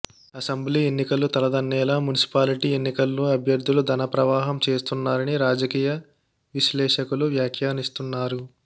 assembly ఎన్నికలు తలదన్నేలా municipality ఎన్నికల్లో అభ్యర్ధులు ధన ప్రవాహం చేస్తున్నారని రాజకీయ విశ్లేషకులు వ్యాఖ్యానిస్తున్నారు